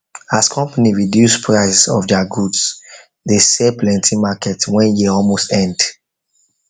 as company reduce price of their goods they sell plenty market when year almost end